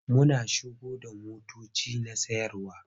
Muna shigo da motoci na sayarwa.